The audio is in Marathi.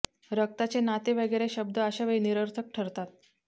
रक्ताचे नाते वगैरे शब्द अशा वेळी निर्थक ठरतात